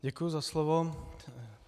Děkuji za slovo.